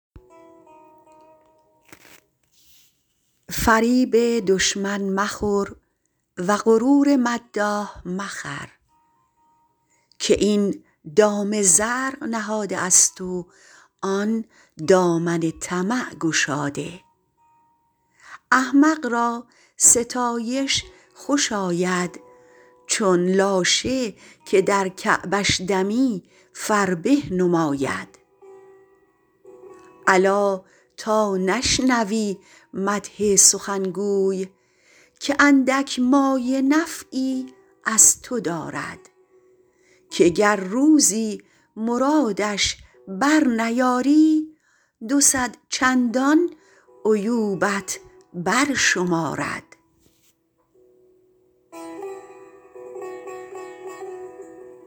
فریب دشمن مخور و غرور مداح مخر که این دام زرق نهاده است و آن دامن طمع گشاده احمق را ستایش خوش آید چون لاشه که در کعبش دمی فربه نماید الا تا نشنوی مدح سخنگوی که اندک مایه نفعی از تو دارد که گر روزی مرادش بر نیاری دو صد چندان عیوبت بر شمارد